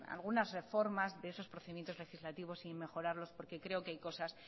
algunas reformas de esos procedimientos legislativos y mejorarlos porque creo que hay cosas